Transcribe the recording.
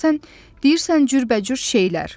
Bax sən deyirsən cürbəcür şeylər.